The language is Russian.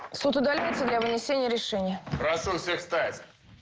суд удаляется для вынесения решения прошу всех встать